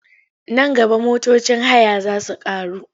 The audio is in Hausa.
Nan gaba motocin haya za su ƙaru.